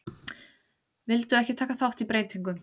Vildu ekki taka þátt í breytingum